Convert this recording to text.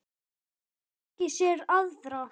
Hefði fengið sér aðra.